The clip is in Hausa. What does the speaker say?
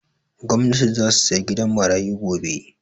Gwanati zasu saya gidan marayu gobe